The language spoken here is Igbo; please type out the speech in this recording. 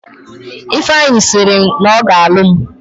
Ifeanyi sịrị na ọ ga alụ m